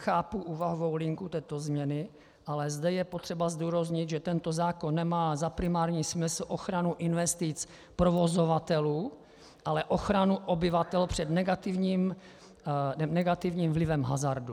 Chápu úvahovou linku této změny, ale zde je potřeba zdůraznit, že tento zákon nemá za primární smysl ochranu investic provozovatelů, ale ochranu obyvatel před negativním vlivem hazardu.